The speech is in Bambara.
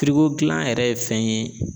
gilan yɛrɛ ye fɛn ye